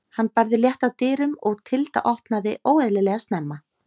Hann barði létt að dyrum og Tilda opnaði óeðlilega snemma.